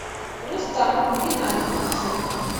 рустамом геннадьевичем